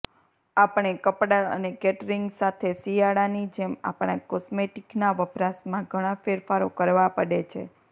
આપણે કપડા અને કેટરિંગ સાથે શિયાળાની જેમ આપણા કોસ્મેટિકના વપરાશમાં ઘણા ફેરફારો કરવા પડે છે